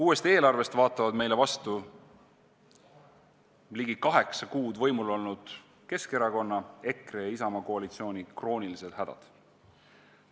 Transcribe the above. Uuest eelarvest vaatavad meile vastu ligi kaheksa kuud võimul olnud Keskerakonna, EKRE ja Isamaa koalitsiooni kroonilised hädad.